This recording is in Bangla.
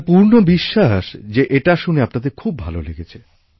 আমার পূর্ণবিশ্বাস যে এটা শুনে আপনাদের খুব ভালো লেগেছে